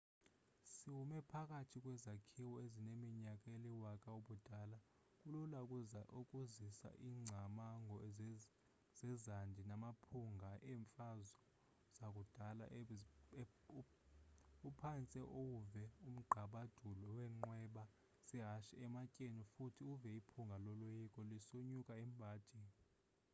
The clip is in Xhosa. sowume phakathi kwezakhiwo ezineminyaka eliwaka-ubudala kulula ukuzisa ingcamango zezandi namaphunga eemfazo zakudala uphantse uwuve umgqabadulo weenqweba zehashe ematyeni futhi uve iphunga loloyiko lisonyuka emhadini